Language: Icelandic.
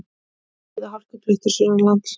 Víða hálkublettir sunnanlands